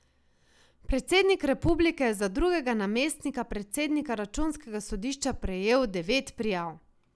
Predsednik republike je za drugega namestnika predsednika računskega sodišča prejel devet prijav.